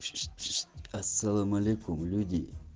ассалам алейкум люди